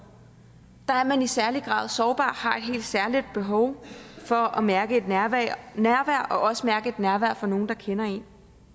der er man i særlig grad sårbar har et helt særligt behov for at mærke et nærvær og også mærke et nærvær fra nogle der kender en